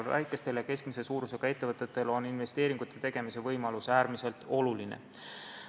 Väikestele ja keskmise suurusega ettevõtetele on investeeringute tegemise võimalus äärmiselt oluline.